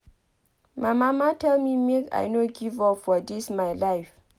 My mama tell me make I no give up for dis my life